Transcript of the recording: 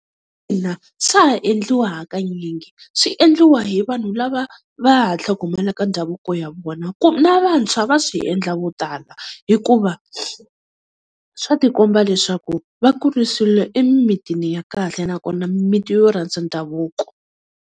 Ina swa ha endliwa hakanyingi, swi endliwa hi vanhu lava va ha tlhogomelaka ndhavuko ya vona . Na vantshwa va swi endla vo tala hikuva swa tikomba leswaku va kurisiwile emimitini ya kahle nakona mimiti yo rhandza ndhavuko.